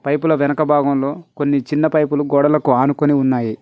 పైపుల వెనుక భాగంలో కొన్ని చిన్న పైపులు గోడలకు ఆనుకొని ఉన్నాయి.